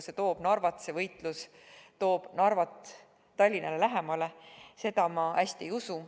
Seda, et see võitlus tooks Narvat Tallinnale lähemale, ma hästi ei usu.